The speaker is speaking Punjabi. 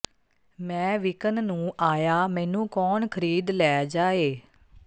ਮੈਂ ਵਿਕਣ ਨੂੰ ਆਇਆ ਮੈਨੂੰ ਕੌਣ ਖਰੀਦ ਲੈ ਜਾਏ